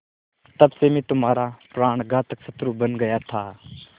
तब से मैं तुम्हारा प्राणघातक शत्रु बन गया था